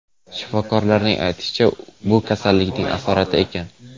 Shifokorlarning aytishicha, bu kasallikning asorati ekan.